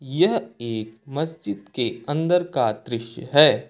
यह एक मस्जिद के अंदर का दृश्य है।